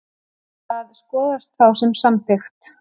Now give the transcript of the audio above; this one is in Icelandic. Það skoðast þá sem samþykkt.